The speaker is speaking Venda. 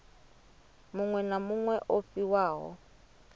muṅwe na muṅwe o fhiwaho